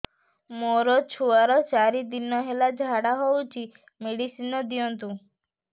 ମୋର ଛୁଆର ଚାରି ଦିନ ହେଲା ଝାଡା ହଉଚି ମେଡିସିନ ଦିଅନ୍ତୁ